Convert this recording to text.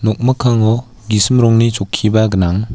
nokmikkango gisim rongni chokkiba gnang.